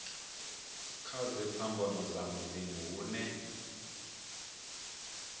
kana dziphambano dza miḓini hune